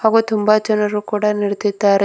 ಹಾಗೂ ತುಂಬಾ ಜನರು ಕೂಡ ನೆರದಿದ್ದಾರೆ.